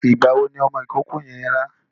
Ìgbà wo ni ọmọ ìkókó yẹn rá?